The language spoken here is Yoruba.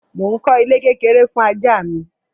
Mo ń kọ́ ilé kékeré fún ajá mi.